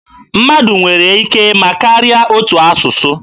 Mmadụ nwere ike ịma karịa otu asụsụ.